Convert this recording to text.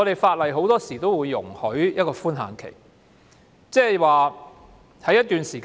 法例很多時候都會給予一個寬限期，即是在一段時間內......